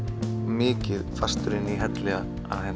mikið fastur inni í helli að